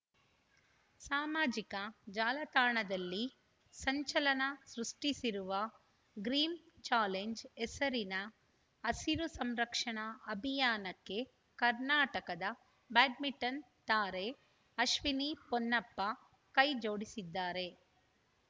ಸಾಮಾಜಿಕ ಜಾಲತಾಣದಲ್ಲಿ ಸಂಚಲನ ಸೃಷ್ಟಿಸಿರುವ ಗ್ರೀನ್‌ ಚಾಲೆಂಜ್‌ ಹೆಸರಿನ ಹಸಿರು ಸಂರಕ್ಷಣಾ ಅಭಿಯಾನಕ್ಕೆ ಕರ್ನಾಟಕದ ಬ್ಯಾಡ್ಮಿಂಟನ್‌ ತಾರೆ ಅಶ್ವಿನಿ ಪೊನ್ನಪ್ಪ ಕೈಜೋಡಿಸಿದ್ದಾರೆ